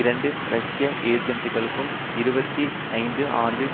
இரண்டு ரஷ்ய ஏஜன்ட்களுக்கு இருபத்தி ஐந்து ஆண்டுகள்